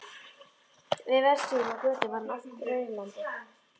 Við verk sín og á götu var hann oft raulandi.